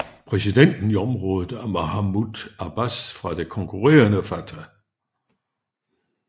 Præsidenten i området er Mahmoud Abbas fra det konkurrerende Fatah